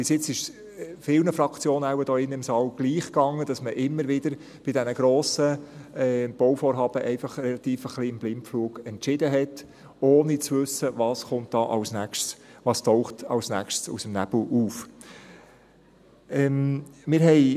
Bis jetzt ging es wohl vielen Fraktionen hier in diesem Saal gleich: dass man bei diesen grossen Bauvorhaben immer wieder einfach ein wenig im Blindflug entschied, ohne zu wissen, was als Nächstes kommt und was als Nächstes aus dem Nebel auftaucht.